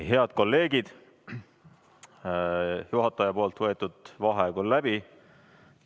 Head kolleegid, juhataja võetud vaheaeg on läbi.